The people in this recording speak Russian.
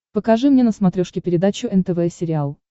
покажи мне на смотрешке передачу нтв сериал